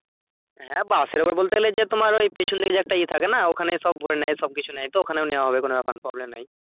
হ্যাঁ bus এর উপর বলতে গেলে যে তোমার ওই পেছনে যে একটা ইয়ে থাকে না ওখানেই সব ভোরে নেয় সব কিছু নেয় তো ওখানেও নেওয়া হবে কোনো ব্যাপার না problem নেই